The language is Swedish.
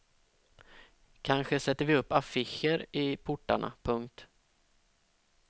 Kanske sätter vi upp affischer i portarna. punkt